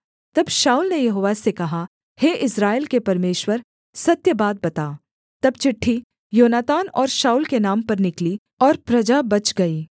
तब शाऊल ने यहोवा से कहा हे इस्राएल के परमेश्वर सत्य बात बता तब चिट्ठी योनातान और शाऊल के नाम पर निकली और प्रजा बच गई